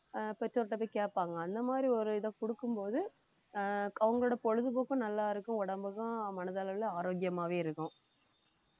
ஆஹ் பெற்றோர்ட்ட போய் கேட்பாங்க அந்த மாதிரி ஒரு இதைக் கொடுக்கும் போது ஆஹ் அவங்களோட பொழுதுபோக்கும் நல்லா இருக்கும் உடம்புக்கும் மனதளவுல ஆரோக்கியமாவே இருக்கும்